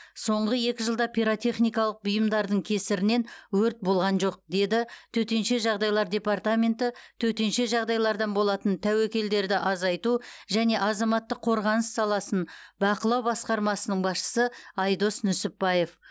соңғы екі жылда пиротехникалық бұйымдардың кесірінен өрт болған жоқ деді төтенше жағдайлар департаменті төтенше жағдайлардан болатын тәуекелдерді азайту және азаматтық қорғаныс саласын бақылау басқармасының басшысы айдос нүсіпбаев